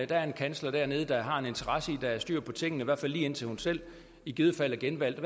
der er en kansler dernede der har en interesse i at der er styr på tingene i hvert fald lige indtil hun selv i givet fald er genvalgt